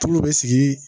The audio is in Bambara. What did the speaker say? Tulu bɛ sigi